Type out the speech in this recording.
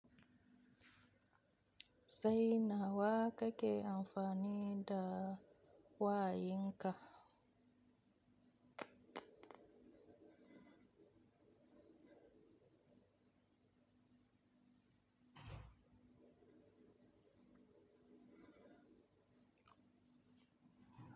Sai nawa kake amfani da wayinka?